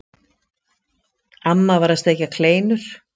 Amma var að steikja kleinur.